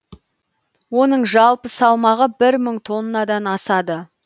оның жалпы салмағы бір мың тоннадан асады